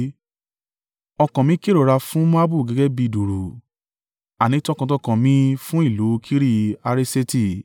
Ọkàn mi kérora fún Moabu gẹ́gẹ́ bí i dùùrù, àní tọkàntọkàn mi fún ìlú Kiri-Hareseti.